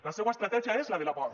la seua estratègia és la de la por